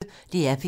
DR P1